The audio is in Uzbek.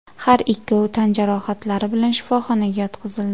Har ikkovi tan jarohatlari bilan shifoxonaga yotqizildi.